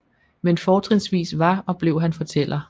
Men fortrinsvis var og blev han fortæller